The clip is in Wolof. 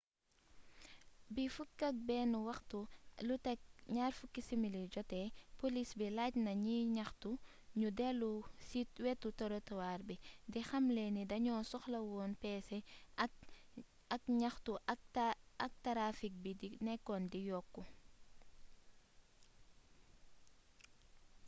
bi 11:20 jotee poliis bi laaj na ñiy ñaxtu ñu dellu ci wetu torotuwaar bi di xamle ni dañoo soxlawoon peese àqu ñaxtu ak tarafik bi nekkoon di yokk